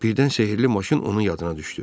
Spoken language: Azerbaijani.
Birdən sehri maşın onun yadına düşdü.